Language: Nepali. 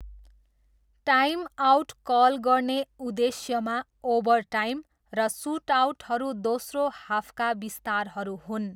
टाइमआउट कल गर्ने उद्देश्यमा, ओभरटाइम र सुटआउटहरू दोस्रो हाफका विस्तारहरू हुन्।